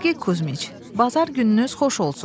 Sergey Kuzmiç, bazar gününüz xoş olsun.